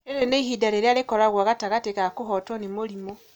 Rĩrĩ nĩ ihinda rĩrĩa rĩkoragwo gatagatĩ ka kũhootwo nĩ mũrimũ.